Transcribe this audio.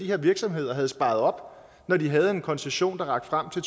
her virksomhed havde sparet op når de har en koncession der rækker frem til